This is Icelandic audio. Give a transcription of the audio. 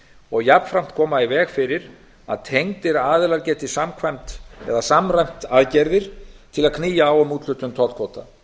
og jafnframt koma í veg fyrir að tengdir aðilar geti samræmt aðgerðir til að knýja á um úthlutun tollkvóta